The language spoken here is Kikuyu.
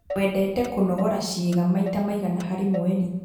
Wendete kũnogora ciĩga maita maigana harĩ mweri?